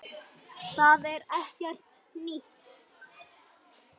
Það er ekkert nýtt.